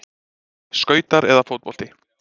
Skautar eða fótbolti?